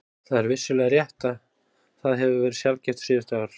Það er vissulega rétt að það hefur verið sjaldgæft síðustu ár.